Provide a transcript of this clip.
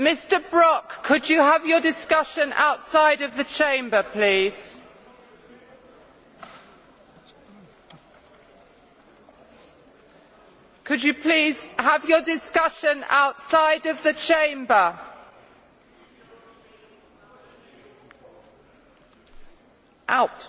Mr Brok, could you have your discussion outside of the Chamber, please? Could you please have your discussion outside of the Chamber? Out!